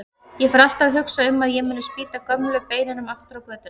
Ég fer alltaf að hugsa um að ég muni spýta gömlu beinunum aftur á götuna.